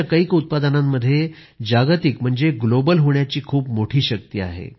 आमच्या कैक उत्पादनांमध्ये जागतिक म्हणजे ग्लोबल होण्याची खूप मोठी शक्ति आहे